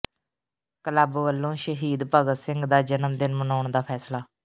club ਵੱਲੋਂ ਸ਼ਹੀਦ ਭਗਤ ਸਿੰਘ ਦਾ ਜਨਮ ਦਿਨ ਮਨਾਉਣ ਦਾ ਫ਼ੈਸਲਾ